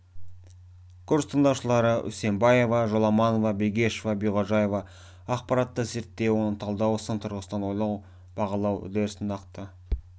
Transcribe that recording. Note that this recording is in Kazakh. курс тыңдаушылары үсенбаева жоламанова бегешова биғожаева ақпаратты зерттеу оны талдау сын тұрғысынан ойлау бағалау үдерісін нақты